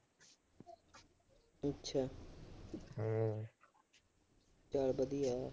ਚਲੋ ਵਧੀਆ।